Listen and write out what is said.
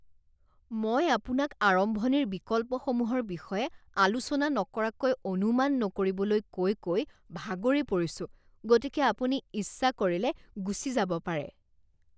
মই আপোনাক আৰম্ভণিৰ বিকল্পসমূহৰ বিষয়ে আলোচনা নকৰাকৈ অনুমান নকৰিবলৈ কৈ কৈ ভাগৰি পৰিছোঁ গতিকে আপুনি ইচ্ছা কৰিলে গুচি যাব পাৰে।